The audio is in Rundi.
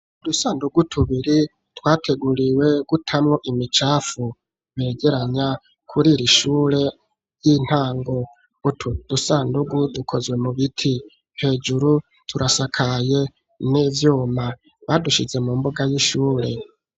Udusandugu tubiri twateguriwe gutamwo imicafu, begeranya kurI iri shure ry'intango. Utwo dusandugu dukozwe mu biti. Hejuru turasakaye n'ivyuma. Badushize mu mbuga y'ishure.